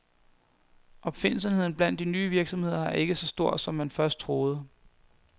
Opfindsomheden blandt de nye virksomheder er ikke så stor, som man først troede.